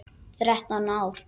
Þrettán ár.